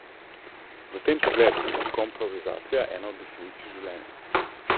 V tem pogledu je komprovizacija ena od definicij življenja.